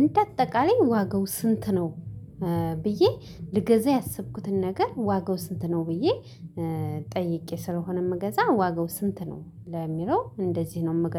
እንደ አጠቃላይ ዋጋው ስንት ነው? ብዬ ልገዛ ያሰብኩትን ነገር ዋጋው ስንት ነው? ብዬ ጠይቄ ስለሆነ የምገዛው ዋጋው ስንት ነው ለሚለው እንደዚህ ነው የምገዛው